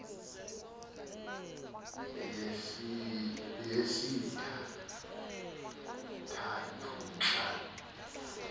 yesitha ndathu xa